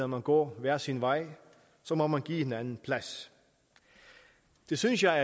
man går hver sin vej så må man give hinanden plads det synes jeg